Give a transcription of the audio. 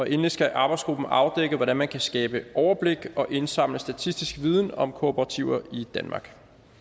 endelig skal arbejdsgruppen afdække hvordan man kan skabe overblik og indsamle statistisk viden om kooperativer i danmark